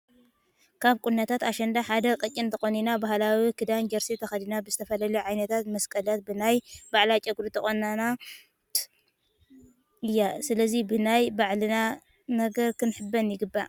ካብ ቁናኖታት ኣሸንዳ ሓደ ቀጭን ተቆኖና ባህላዊ ክዳን ጀርሲ ተከዲና ብዝተፈላለዩ ዓይነታት መስቀላት ብናይ ባዕላ ጨጉሪ ዝተቆነናት እያ። ስለዚ ብናይ ባዕልና ነገር ክንሕበን ይግባእ።